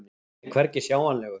Hann er hvergi sjáanlegur.